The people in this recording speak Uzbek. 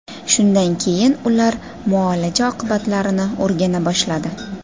Shundan keyin ular muolaja oqibatlarini o‘rgana boshladi.